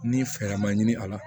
Ni fɛɛrɛ ma ɲini a la